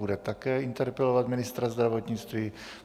Bude také interpelovat ministra zdravotnictví.